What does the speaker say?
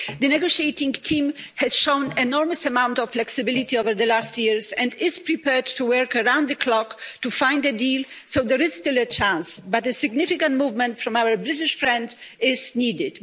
The negotiating team has shown an enormous amount of flexibility over the last few years and is prepared to work around the clock to find a deal, so there is still a chance, but a significant movement from our British friends is needed.